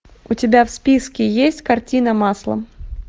у тебя в списке есть картина маслом